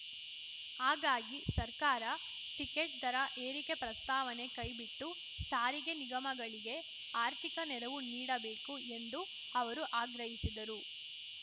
ಹಾಗಾಗಿ ಸರ್ಕಾರ ಟಿಕೆಟ್‌ ದರ ಏರಿಕೆ ಪ್ರಸ್ತಾವನೆ ಕೈಬಿಟ್ಟು ಸಾರಿಗೆ ನಿಗಮಗಳಿಗೆ ಆರ್ಥಿಕ ನೆರವು ನೀಡಬೇಕು ಎಂದು ಅವರು ಆಗ್ರಹಿಸಿದರು